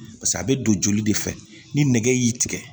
a bɛ don joli de fɛ ni nɛgɛ y'i tigɛ